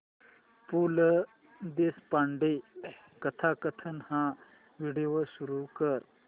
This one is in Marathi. पु ल देशपांडे कथाकथन हा व्हिडिओ सुरू कर